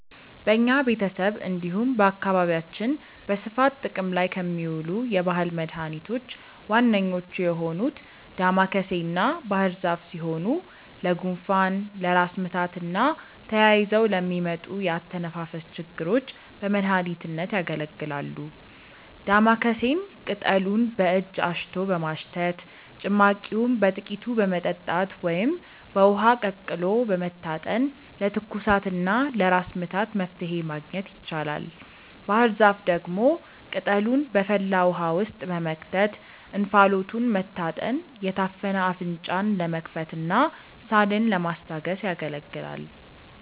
በኛ ቤተሰብ እንዲሁም በአካባቢያችን በስፋት ጥቅም ላይ ከሚውሉ የባህል መድኃኒቶች ዋነኞቹ የሆኑት ዳማከሴና ባህርዛፍ ሲሆኑ ለጉንፋን፣ ለራስ ምታትና ተያይዘው ለሚመጡ የአተነፋፈስ ችግሮች በመድሀኒትነት ያገለግላሉ። ዳማከሴን ቅጠሉን በእጅ አሽቶ በማሽተት፣ ጭማቂውን በጥቂቱ በመጠጣት ወይም በውሃ ቀቅሎ በመታጠን ለትኩሳትና ለራስ ምታት መፍትሔ ማግኘት ይቻላል። ባህርዛፍ ደግሞ ቅጠሉን በፈላ ውሃ ውስጥ በመክተት እንፋሎቱን መታጠን የታፈነ አፍንጫን ለመክፈትና ሳልን ለማስታገስ ያገለግላል።